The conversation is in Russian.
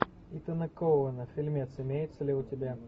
итана коэна фильмец имеется ли у тебя